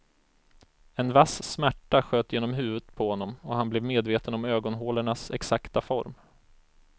En vass smärta sköt genom huvudet på honom och han blev medveten om ögonhålornas exakta form.